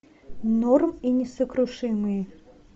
норм и несокрушимые